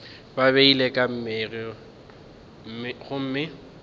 ba beilwe ka mei gomme